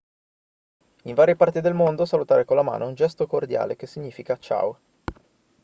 in varie parti del mondo salutare con la mano è un gesto cordiale che significa ciao